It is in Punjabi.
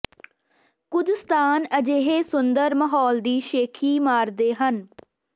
ਕੁਝ ਸਥਾਨ ਅਜਿਹੇ ਸੁੰਦਰ ਮਾਹੌਲ ਦੀ ਸ਼ੇਖ਼ੀ ਮਾਰਦੇ ਹਨ